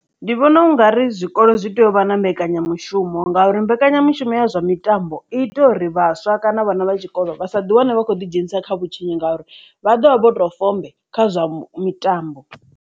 Ndi vhona u ngari zwikolo zwi tea uvha na mbekanyamushumo ngauri mbekanyamushumo ya zwa mitambo i ita uri vhaswa kana vhana vha tshikolo vha sa ḓiwane vha kho ḓi dzhenisa kha vhutshinyi ngauri vha ḓovha vho to fombe kha zwa mitambo.